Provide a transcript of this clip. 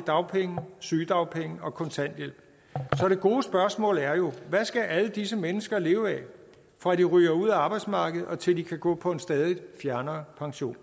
dagpenge sygedagpenge og kontanthjælp så det gode spørgsmål er jo hvad skal alle disse mennesker leve af fra de ryger ud af arbejdsmarkedet og til de kan gå på en stadig fjernere pension